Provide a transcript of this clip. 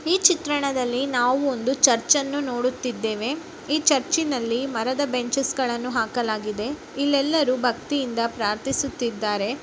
ಈ ಚಿತ್ರಣದಲ್ಲಿ ನಾವು ಒಂದು ಚರ್ಚನ್ನು ನೋಡುತ್ತಿದ್ದೇವೆ. ಈ ಚರ್ಚಿನಲ್ಲಿ ಮರದ ಬೆಂಚಸ್ ಗಳನ್ನು ಹಾಕಲಾಗಿದೆ ಇಲ್ಲೆಲ್ಲರೂ ಭಕ್ತಿಯಿಂದ ಪ್ರಾರ್ಥಿಸುತ್ತಿದ್ದಾರೆ. .